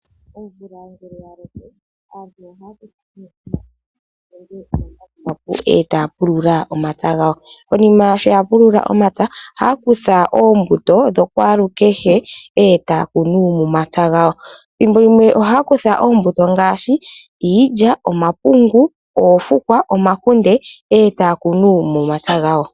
Omvula ngeke yaloko aantu ohaya aantu ohaya futu omambakumbaku ee taga pulula omapya gawo. Konima sho yapulula omapya gawo ohaya kutha oombuto shokwaalukehe ee taya kunu momapya gawo. Ethimbo limwe ohaya kutha oombuto ngaashi iilya, omapungu, oofukwa, omakunde ee taya kunu momapya gawo.